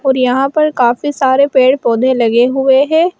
और यहां पर काफी सारे पेड़ पौधे लगे हुए हैं।